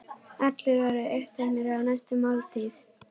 Allir voru uppteknir af næstu máltíð.